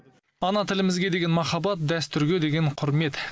ана тілімізге деген махаббат дәстүрге деген құрмет